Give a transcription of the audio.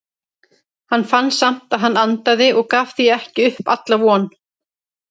Hann fann samt að hann andaði og gaf því ekki upp alla von.